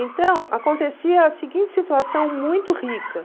Então, acontecia a seguinte situação muito rica.